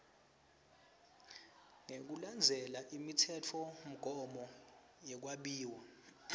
ngekulandzela imitsetfomgomo yekwabiwa